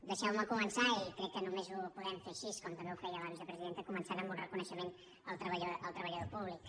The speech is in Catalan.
dei·xeu·me començar i crec que només ho podem fer així com també ho feia la vicepresidenta començant amb un reconeixement al treballador públic